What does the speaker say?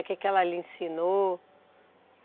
O que que ela lhe ensinou?